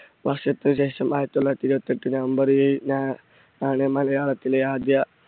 വർഷത്തിന് ശേഷം ആയിരത്തി തൊള്ളായിരത്തി ഇരുപത്തെട്ട് november ഏഴിനാ~നാണ് മലയാളത്തിലെ ആദ്യ